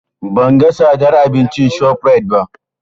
Ban ga tsadar abincin ShopRite ba.